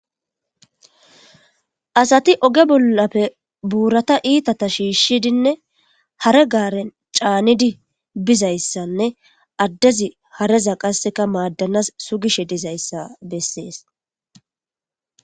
Asati oge bollappe buurata iitata shiishshidinne hare gaaren caanidi bizayssanne addezi hareza qasseka maaddanas sugishe dizayssa bessees.